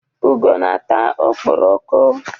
Ugo na-ata okporoko.